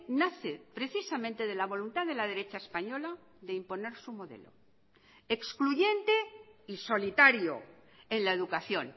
nace precisamente de la voluntad de la derecha española de imponer su modelo excluyente y solitario en la educación